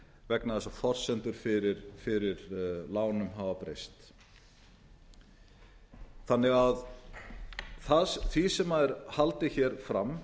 vegna þess að forsendur fyrir lánum hafa breyst því sem er haldið hér fram